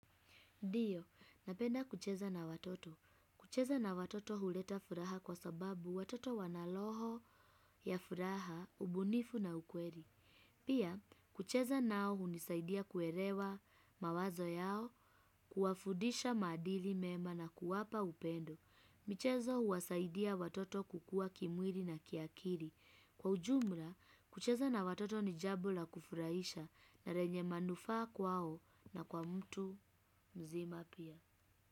Ndiyo, napenda kucheza na watoto. Kucheza na watoto huleta furaha kwa sababu watoto wanaloho ya furaha, ubunifu na ukweli. Pia, kucheza nao hunisaidia kuelewa mawazo yao, kuwafudisha maadili mema na kuwapa upendo. Michezo huwasaidia watoto kukua kimwili na kiakiri. Kwa ujumla, kucheza na watoto ni jambo la kufurahisha na lenye manufaa kwao na kwa mtu mzima pia.